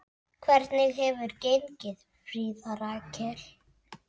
Hvernig hefur gengið, Fríða Rakel?